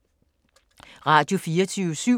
Radio24syv